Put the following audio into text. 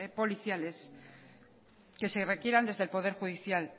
policiales que se requieran desde el poder judicial